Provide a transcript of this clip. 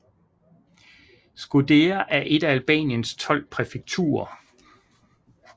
Shkodër er et af Albaniens tolv præfekturer